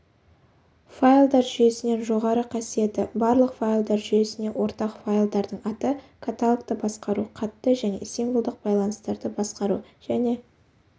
файлдар жүйесінен жоғары қасиеті барлық файлдар жүйесіне ортақ файлдардың аты каталогты басқару қатты және символдық байланыстарды басқару және